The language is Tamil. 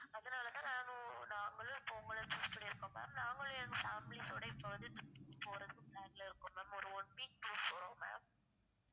அதனாலதான் நானும் நாங்களும் இப்போ உங்கள choose பண்ணிருக்கோம் ma'am நாங்களும் எங்க families ஓட இப்போ வந்து trip க்கு போறதுக்கு plan ல இருக்கோம் ma'am ஒரு one week tour போறோம் ma'am